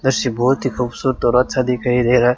Lush बहोत ही खूबसूरत और अच्छा दिखाई दे रहा है।